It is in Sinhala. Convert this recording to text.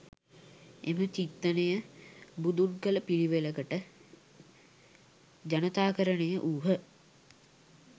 එම චින්තනය බුදුන් කල පිළිවෙලකට ජනතාකරණය වුහ